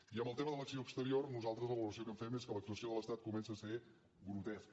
i en el tema de l’acció exterior nosaltres la valoració que en fem és que l’actuació de l’estat comença a ser grotesca